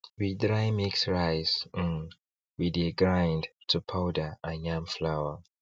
we dry mix rice um wey dey grind to powder and yam flour